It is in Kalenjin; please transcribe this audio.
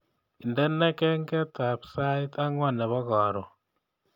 Indene kengetab sait angwan nebo karon